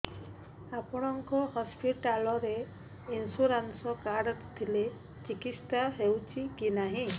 ଆପଣଙ୍କ ହସ୍ପିଟାଲ ରେ insurance card ଥିଲେ ଚିକିତ୍ସା ହେଉଛି କି ନାଇଁ